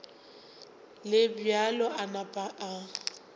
le bjalo a napa a